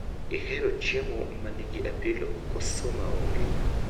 Ihero chiemo manigi apilo koso maonge?